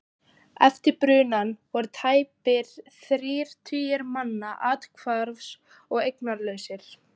Eftir brunann voru tæpir þrír tugir manna athvarfs- og eignalausir.